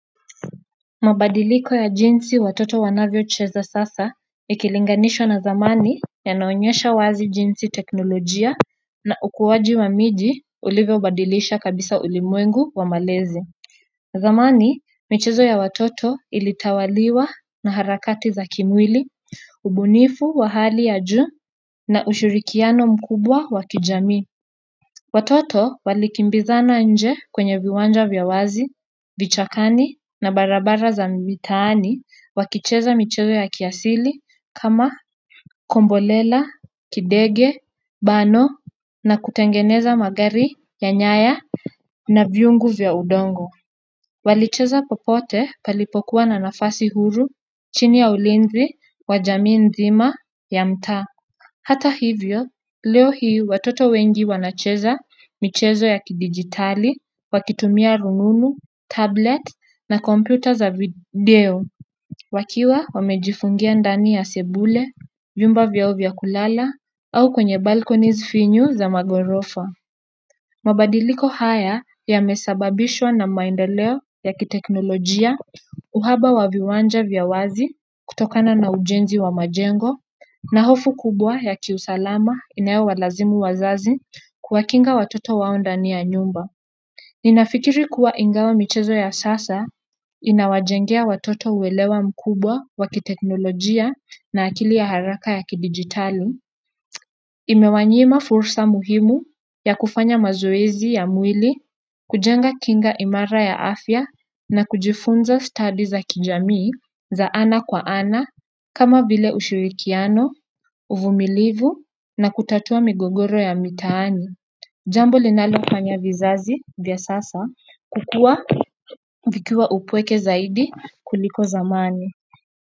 Mabadiliko ya jinsi watoto wanavyo cheza sasa ikilinganishwa na zamani yanaonyesha wazi jinsi teknolojia na ukuwaji wa miji ulivyo badilisha kabisa ulimwengu wa malezi zamani michezo ya watoto ilitawaliwa na harakati za kimwili, ubunifu wa hali ya juu na ushirikiano mkubwa wa kijami watoto walikimbizana nje kwenye viwanja vya wazi, vichakani na barabara za mitaani wakicheza michezo ya kiasili kama kombolela, kidege, bano na kutengeneza magari ya nyaya na viungu vya udongo. Walicheza popote palipokuwa na nafasi huru chini ya ulinzi wa jamii nzima ya mtaa hata hivyo, leo hii watoto wengi wanacheza michezo ya kidigitali, wakitumia rununu, tablet na kompyuta za video. Wakiwa wamejifungia ndani ya sebule, vyumba vyao vya kulala, au kwenye balconys finyu za magorofa. Mabadiliko haya yamesababishwa na maendeleo ya kiteknolojia, uhaba wa viwanja vya wazi kutokana na ujenzi wa majengo, na hofu kubwa ya kiusalama inayo walazimu wazazi kuwakinga watoto wao ndani ya nyumba. Ninafikiri kuwa ingawa michezo ya sasa inawajengea watoto uwelewa mkubwa wakiteknolojia na akili ya haraka ya kidigitali. Imewanyima fursa muhimu ya kufanya mazoezi ya mwili kujenga kinga imara ya afya na kujifunza study za kijamii za ana kwa ana kama vile ushirikiano, uvumilivu na kutatua migogoro ya mitaani jambo linalofanya vizazi vya sasa kukua vikiwa upweke zaidi kuliko zamani.